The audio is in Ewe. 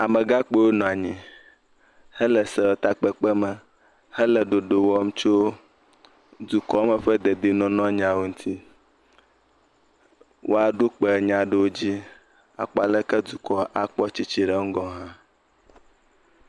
Amegãkpuiwo nɔ anyi hele sewɔtakpekpe me hele ɖoɖo wɔm tso dukɔ me ƒe dedienɔnɔ nyawo ŋuti. Woaɖo kpe nya aɖewo dzi akpɔ aleke dukɔ akpɔ tsitsi ɖe ŋgɔ ha.